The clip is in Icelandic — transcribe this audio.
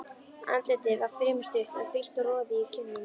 Andlitið var fremur stutt, en frítt og roði í kinnum.